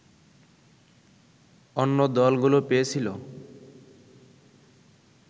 অন্য দলগুলো পেয়েছিল